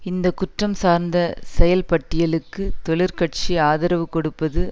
இந்த குற்றம் சார்ந்த செயல்பட்டியலுக்கு தொழிற்கட்சி ஆதரவு கொடுப்பது